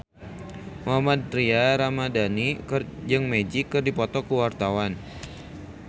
Mohammad Tria Ramadhani jeung Magic keur dipoto ku wartawan